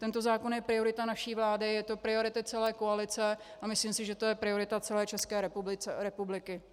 Tento zákon je priorita naší vlády, je to priorita celé koalice a myslím si, že to je priorita celé České republiky.